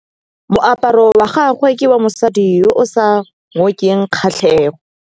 Moaparô wa gagwe ke wa mosadi yo o sa ngôkeng kgatlhegô.